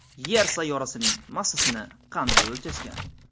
Yer sayyorasining massasini qanday o‘lchashgan?.